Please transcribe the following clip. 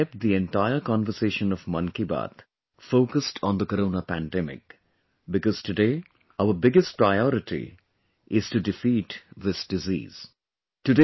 today we kept the entire conversation of 'Mann Ki Baat' focused on the corona pandemic, because, today, our biggest priority is to defeat this disease